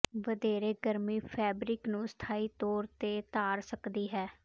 ਵਧੇਰੇ ਗਰਮੀ ਫੈਬਰਿਕ ਨੂੰ ਸਥਾਈ ਤੌਰ ਤੇ ਧਾਰ ਸਕਦੀ ਹੈ